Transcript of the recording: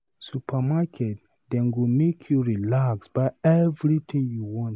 Supermarket dem go make you relax buy everytin you want.